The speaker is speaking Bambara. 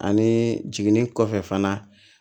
Ani jiginni kɔfɛ fana